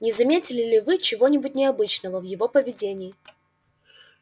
не заметили ли вы чего-нибудь необычного в его поведении